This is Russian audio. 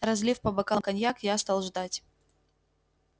разлив по бокалам коньяк я стал ждать